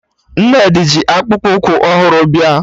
Nnedi ji akpụkpụ ụkwụ ọhụrụ bịa